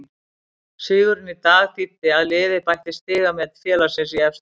Sigurinn í dag þýddi að liðið bætti stigamet félagsins í efstu deild.